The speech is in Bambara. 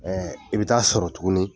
i bi ta sɔrɔ tuguni